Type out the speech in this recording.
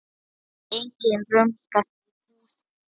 Enginn rumskar í húsinu.